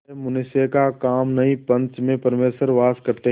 यह मनुष्य का काम नहीं पंच में परमेश्वर वास करते हैं